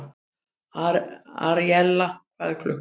Aríella, hvað er klukkan?